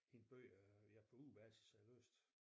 Hente bøger ja på ugebasis har jeg læst